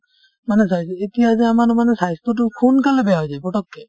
মানে চাইছো এতিয়া যে আমাৰ মানে স্বাস্থ্যতো সোনকালে বেয়া হৈ যায় পতককে